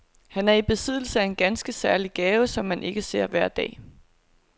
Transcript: Han er i besiddelse af en ganske særlig gave, som man ikke ser hver dag.